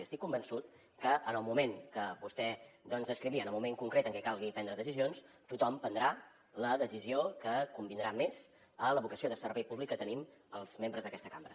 i estic convençut que en el moment que vostè doncs descrivia en el moment concret en què calgui prendre decisions tothom prendrà la decisió que convindrà més a la vocació de servei públic que tenim els membres d’aquesta cambra